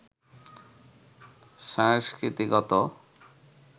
সংস্কৃতিগত